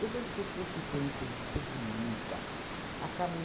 Todas as pessoas que têm chance de ser bonita, acabam...